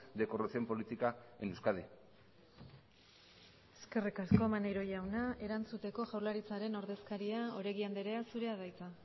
de corrupción política en euskadi eskerrik asko maneiro jauna erantzuteko jaurlaritzaren ordezkaria oregi andrea zurea da hitza